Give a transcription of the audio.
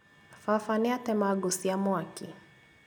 Baba nĩatema ngũ cia mwaki